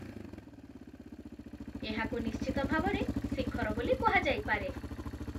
ଏହାକୁ ନିଶ୍ଚିତ ଭାବରେ ଶିଖର ବୋଲି କୁହାଯାଇପାରେ।